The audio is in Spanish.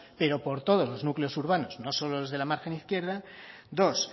pero por todos los núcleos urbanos no solo los de la margen izquierda dos